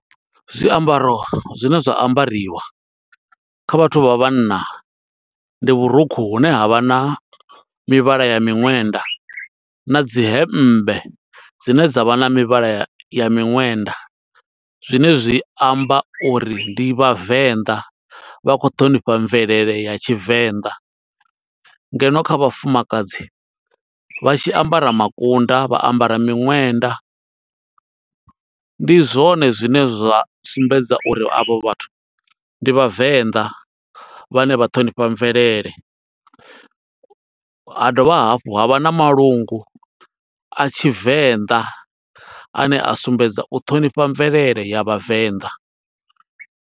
Zwiambaro zwine zwa ambariwa, kha vhathu vha vhanna. Ndi vhurukhu hune ha vha na mivhala ya miṅwenda, na dzi hembe dzine dza vha na mivhala ya miṅwenda. Zwine zwi amba uri ndi Vhavenḓa, vha khou ṱhonifha mvelele ya Tshivenḓa. Ngeno kha vhafumakadzi, vha tshi ambara makunda, vha ambara miṅwenda, ndi zwone zwine zwa sumbedza uri a vho vhathu ndi vhavenḓa, vhane vha ṱhonifha mvelele. Ha dovha hafhu, ha vha na malungu a tshivenda, a ne a sumbedza u ṱhonifha mvelele ya Vhavenḓa.